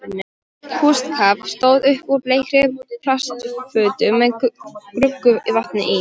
Kústskaft stóð upp úr bleikri plastfötu með gruggugu vatni í.